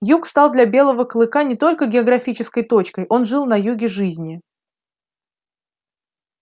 юг стал для белого клыка не только географической точкой он жил на юге жизни